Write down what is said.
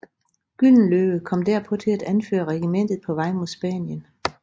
Gyldenløve kom derpå til at anføre regimentet på vej mod Spanien